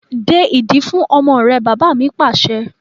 De ìdí fún ọmọ rẹ! Bàbá ni pàṣẹ.